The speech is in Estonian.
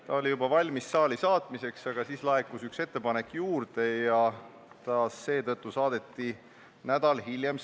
See oli juba valmis saali saatmiseks, aga siis laekus veel üks ettepanek ja seetõttu saadeti eelnõu saali nädal hiljem.